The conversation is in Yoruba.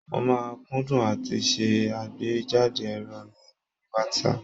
Mo máa ń kúndùn àti ṣe àgbéjáde èrò mi lórí WhatsApp.